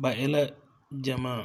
ba e la gyamaa